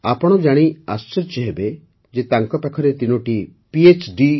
ଆପଣ ଜାଣି ଆଶ୍ଚର୍ଯ୍ୟ ହେବେ ଯେ ତାଙ୍କ ପାଖରେ ତିନୋଟି phଡି